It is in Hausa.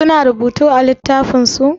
Su na rubutu a littafin su?